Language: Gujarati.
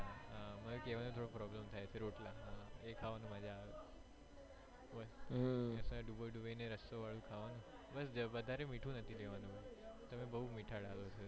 હા મન એ કેવામાં થોડો problem થાય છે રોટલા એ ખાવાનું મજ્જા આવે ડુબોઇ ડુબોઇ ને રસ્સા વાળું ખાવાનું વધારે મીઠું નથી લેવાનું તમે બો મીઠાડા